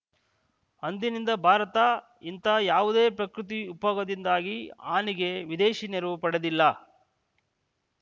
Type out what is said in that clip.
ಅಂದಿನಿಂದ ಭಾರತ ಇಂತಹ ಯಾವುದೇ ಪ್ರಕೃತಿ ವಿಕೋಪದಿಂದಾದ ಹಾನಿಗೆ ವಿದೇಶಿ ನೆರವು ಪಡೆದಿಲ್ಲ